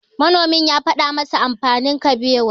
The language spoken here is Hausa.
Manomin ya faɗa masa amfanin Kabewa.